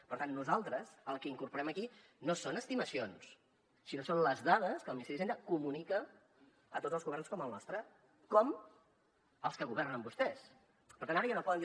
per tant nosaltres el que incorporem aquí no són estimacions sinó que són les dades que el ministeri d’hisenda comunica a tots els governs com el nostre com als que governen vostès per tant ara ja no poden dir